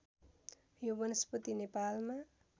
यो वनस्पति नेपालमा